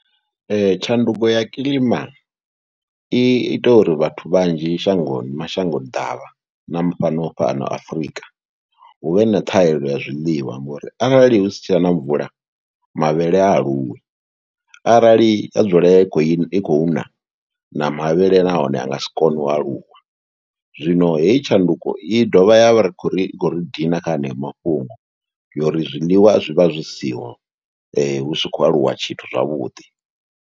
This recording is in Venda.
Tshanduko ya kilima i ita uri vhathu vhanzhi shangoni mashango ḓavha na fhano fhano Afrika hu vhe na thahelelo ya zwiliwa ngori arali hu si tshe na na mvula mavhele ha aluwi, arali ha dzula i khou na na mavhele nahone a nga si kone u aluwa, zwino heyi tshanduko i dovha ya vha ri khou ri i khou ri dina kha haneyo mafhungo ngori zwiḽiwa zwi vha zwi siho, hu si khou aluwa tshithu zwavhuḓi.